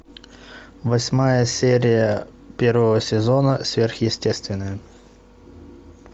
восьмая серия первого сезона сверхъестественное